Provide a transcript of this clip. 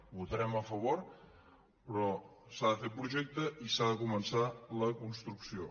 votarem a favor però s’ha de fer projecte i s’ha de començar la construcció